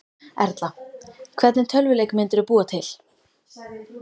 Erla: Hvernig tölvuleik myndirðu búa til?